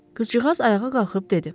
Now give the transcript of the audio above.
Qızcığaz ayağa qalxıb dedi.